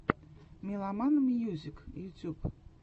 меломан мьюзик ютюб